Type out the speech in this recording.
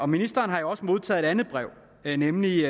ministeren har jo også modtaget et andet brev nemlig